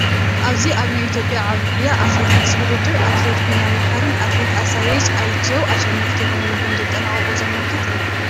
ኣብዚ ኣብ ናይ ኢ/ያ ዓብይ ጉያ ኣትለቲክስ ውድድር ኣትሌት ቢንያም መሓርን ኣትሌት ኣሳየች ኣይቼው ኣሸነፍቲ ኮይኖም ከም ዘጠናቐቑ ዘመልክት እዩ፡፡